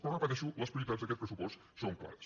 però ho repeteixo les prioritats d’aquest pressupost són clares